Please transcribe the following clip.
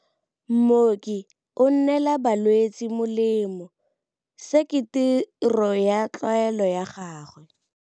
Mooki o neela balwetse molemô, se ke tirô ya tlwaelô ya gagwe.